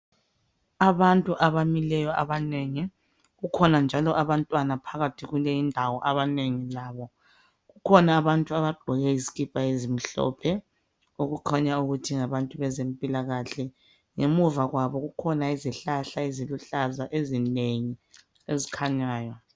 Abantu abamileyo abanengi kukhona njalo abantwana abamileyo kuleyindawo abanengi labo kukhona abantu abagqoke izikipa ezimhlophe okukhanya ukuthi ngabantu bezempilakahle ngemuva kwabo kukhanya izihlahla eziluhlaza ezinengi ezikhanyayo